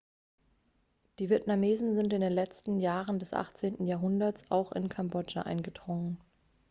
die vietnamesen sind in den letzten jahren des 18. jahrhunderts auch in kambodscha eingedrungen